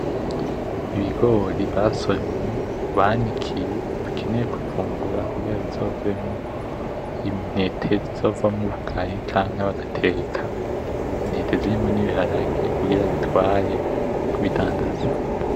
Ibigori basoromye banikiye bakeye kuvungura kugira bizovemwo intete zizovamwo ubugari canke bagateka, intete zirimwo n'ibiharage kugira babitware kubidandaza .